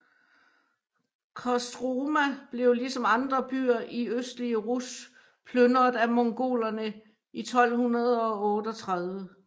Kostroma blev ligesom andre byer i østlige Rus plynret af Mongolerne i 1238